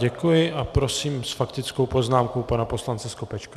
Děkuji a prosím s faktickou poznámkou pana poslance Skopečka.